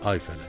Ay fələk.